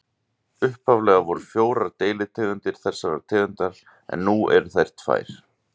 Upphaflega voru fjórar deilitegundir þessarar tegundar en nú eru þær tvær.